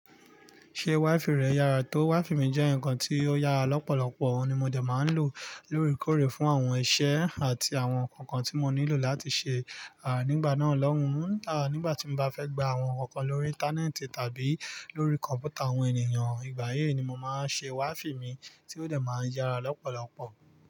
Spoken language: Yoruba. Ṣé WiFi rẹ yára tó? WiFi mi jẹ́ ǹkan tí ó yára lọ́pọ̀lọpọ̀, òun ni mo dẹ̀ máa ń lò lóre kòrè fún àwọn iṣẹ́ àti àwọn ǹkan kan tí mo nílò láti ṣe, à nígbà náà lọ́hùn, à nígbà tí mo bá fẹ́ gba àwọn ǹkan kan lórí íńtánẹ́ẹ̀tì tàbí lórí kọ̀m̀pútà àwọn ènìyàn, ìgbà yii ni mo màá ṣe WiFi mi tí ó dẹ̀ máa yára lọ́pọ̀lọpọ̀.